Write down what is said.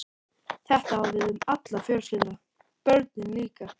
Þetta á við um alla fjölskylduna- börnin líka.